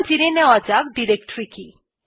এবার জেনে নেওয়া যাক ডিরেক্টরী কি